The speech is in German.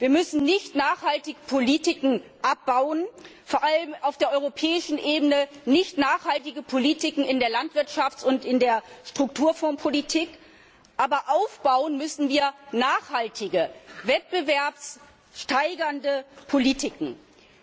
Wir müssen nichtnachhaltige Politiken abbauen, vor allem auf der europäischen Ebene, nichtnachhaltige Politiken in der Landwirtschafts und in der Strukturfondspolitik, stattdessen müssen wir nachhaltige wettbewerbssteigernde Politiken aufbauen.